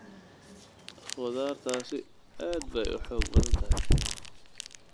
Khudaartaasi aad bay u xoog badan tahay.